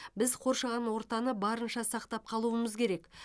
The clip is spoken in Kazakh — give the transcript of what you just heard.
біз қоршаған ортаны барынша сақтап қалуымыз керек